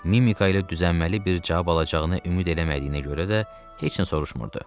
Mimika ilə düzənməli bir cavab alacağını ümid eləmədiyinə görə də heç nə soruşmurdu.